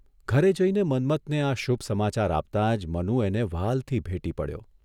ઘરે જઇને મન્મથને આ શુભ સમાચાર આપતા જ મનુ એને વ્હાલથી ભેટી પડ્યો.